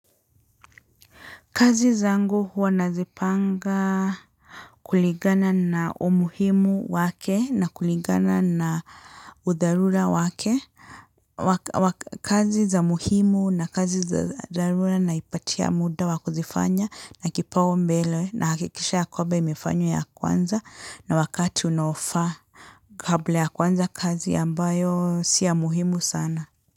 Kazi zangu huwa nazi panga kuligana na umuhimu wake na kuligana na udharura wake. Kazi za muhimu na kazi za dhararu naipatia muda wa kuzifanya na kipau mbele na hakikisha ya kwamba imefanywa ya kwanza na wakati unao faa kabla ya kwanza kazi ambayo si ya muhimu sana.